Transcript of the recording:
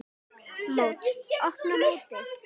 Mót: Opna mótið